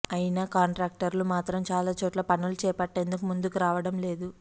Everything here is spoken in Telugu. అయినా కాంట్రాక్టర్లు మాత్రం చాలా చోట్ల పనులు చేపట్టేందుకు ముందుకు రావడం లేదు